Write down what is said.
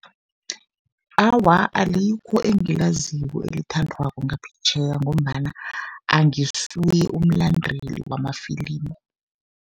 Awa, alikho engilaziko elithandwako ngaphetjheya, ngombana angisuye umlandeli wamafilimu.